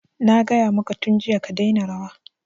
Na gaya maka tun jiya ka daina rawa!